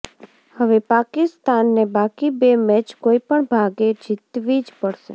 હવે પાકિસ્તાને બાકી બે મેચ કોઇપણ ભોગે જીતવી જ પડશે